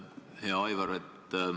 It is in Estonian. Hea Aivar!